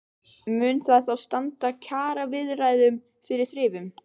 Mun það þá standa kjaraviðræðum fyrir þrifum?